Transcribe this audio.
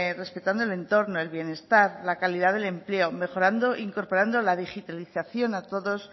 respetando el entorno el bienestar la calidad del empleo mejorando e incorporando la digitalización a todos